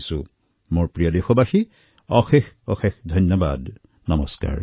মোৰ মৰমৰ দেশবাসীসকল বহুত বহুত ধন্যবাদ নমস্কাৰ